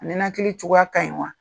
A nɛnakili cogoya ka ɲi wa?